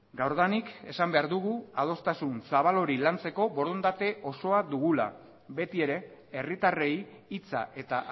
gaurdanik esan behar dugu adostasun zabal hori lantzeko borondate osoa dugula beti ere herritarrei hitza eta